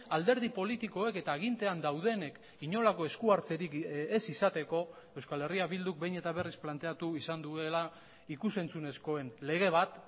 alderdi politikoek eta agintean daudenek inolako eskuhartzerik ez izateko euskal herria bilduk behin eta berriz planteatu izan duela ikus entzunezkoen lege bat